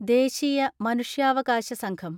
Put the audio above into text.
ദേശീയ മനുഷ്യാവകാശ സംഘം